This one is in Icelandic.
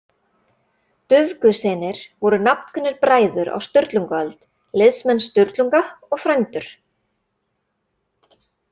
Dufgussynir voru nafnkunnir bræður á Sturlungaöld, liðsmenn Sturlunga og frændur.